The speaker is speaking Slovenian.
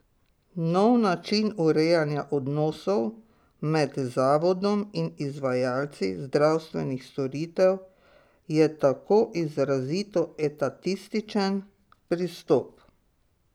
Nov način urejanja odnosov med Zavodom in izvajalci zdravstvenih storitev je tako izrazito etatističen pristop.